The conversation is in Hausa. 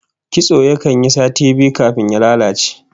Kitso yakan yi sati biyu kafin ya lalace